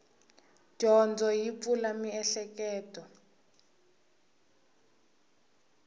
dyondzo yi pfula mieheketo